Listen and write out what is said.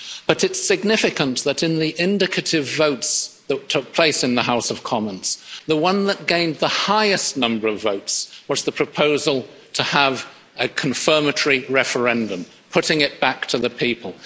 But it's significant that, in the indicative votes that took place in the House of Commons, the one that gained the highest number of votes was the proposal to have a confirmatory referendum putting it back to the people.